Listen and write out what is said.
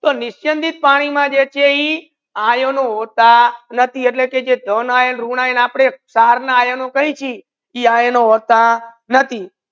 તો નિસ્યંદિત પાની મા જે છે ઇ આયનો હોતા નથી એટલા કે આયર્નઓર રૂગ્નલઓર સાર ના આયનો કઈ છિ એનુ વર્તા નથી